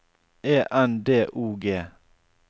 E N D O G